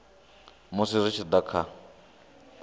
musi zwi tshi da kha